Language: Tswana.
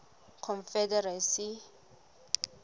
confederacy